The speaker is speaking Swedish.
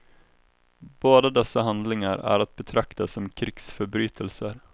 Båda dessa handlingar är att betrakta som krigsförbrytelser.